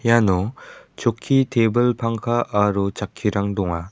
iano chokki tebil pangka aro chakkirang donga.